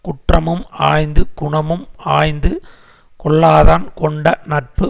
குற்றமும் ஆய்ந்து குணமும் ஆய்ந்து கொள்ளாதான் கொண்ட நட்பு